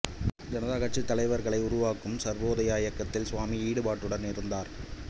ஜனதா கட்சிக்கு தலைவர்களை உருவாக்கும் சர்வோதாயா இயக்கத்தில் சுவாமி ஈடுபாட்டுடன் இருந்தார்